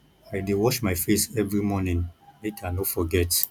i dey wash my face every morning make i no forget